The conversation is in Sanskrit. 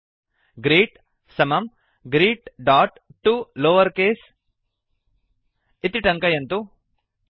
ग्रीट् ग्रीट् समं greetतो lowercase greet dot to lower case इति टङ्कयन्तु